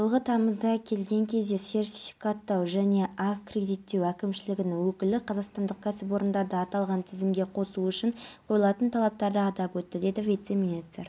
шымкентте төртінші күні тәмамдалды дәлірегі маусымдағы мемлекеттік сынақтың қорытындысы мынадай орта балл көрсеткіші тең оқушы балдан жоғары жинап отыр